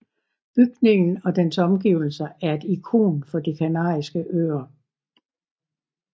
Bygningen og dens omgivelser er et ikon for De Kanariske Øer